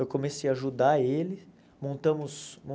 Eu comecei a ajudar ele, montamos um